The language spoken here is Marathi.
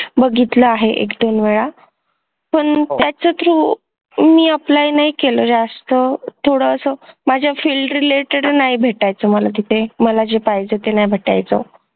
बघितलं आहे एक दोन वेळा पण त्याच्या through मी apply नाही केला जास्त थोडसं माझ्या field related नाही भेटायचं मला तिथे मला जे पाहिजे ते नाही भेटायचं